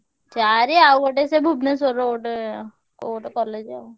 ଚାରି ଆଉ ଗୋଟେ ସେ ଭୁବନେଶ୍ବରର ଗୋଟେ କୋଉ ଗୋଟେ college ଆଉ।